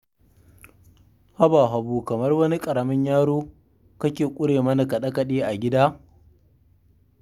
Haba Habu, kamar wani ƙaramin yaro kake ƙure mana kaɗe-kaɗe a gida?